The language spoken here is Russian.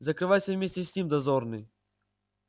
закрывайся вместе с ним дозорный